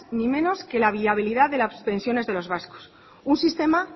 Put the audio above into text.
ni menos que la viabilidad de las pensiones de los vascos un sistema